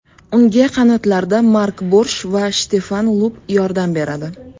Unga qanotlarda Mark Borsh va Shtefan Lupp yordam beradi.